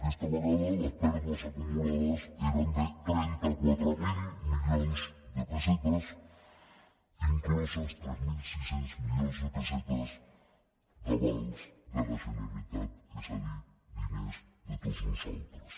aquesta vegada les pèrdues acumulades eren de trenta quatre mil milions de pessetes inclosos tres mil sis cents milions de pessetes d’avals de la generalitat és a dir diners de tots nosaltres